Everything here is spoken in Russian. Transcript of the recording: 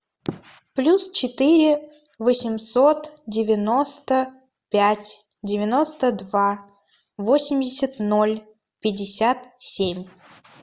плюс четыре восемьсот девяносто пять девяносто два восемьдесят ноль пятьдесят семь